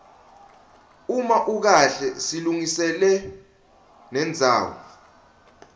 uma ukahle silungiselwa nendzawo